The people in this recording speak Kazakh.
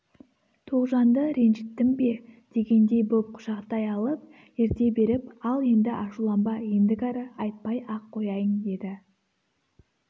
тоғжанды ренжіттім бе дегендей боп құшақтай алып ерте беріп ал енді ашуланба ендігәрі айтпай-ақ қояйын деді